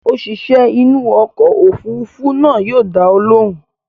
Òṣìṣẹ́ inú ọkọ̀ òfurufú náà yóò dá ọ lóhùn.